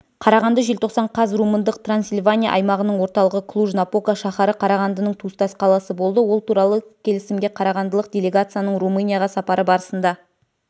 қарағанды желтоқсан қаз румындық трансильвания аймағының орталығы клуж-напока шаһары қарағандының туыстас қаласы болды ол туралы келісімге қарағандылық делегацияның румынияға сапары барысында